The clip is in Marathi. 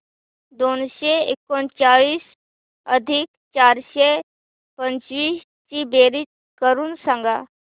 दोनशे एकोणचाळीस अधिक चारशे पंचवीस ची बेरीज करून सांगा